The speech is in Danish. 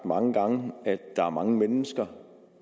mange gange at der er mange mennesker